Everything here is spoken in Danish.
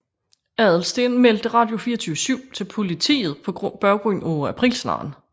Adelsteen meldte Radio24syv til politiet på baggrund af aprilsnaren